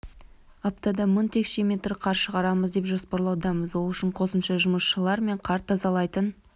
аптада мың текше метр қар шығарамыз деп жоспарлаудамыз ол үшін қосымша жұмысшылар мен қар тазалайтын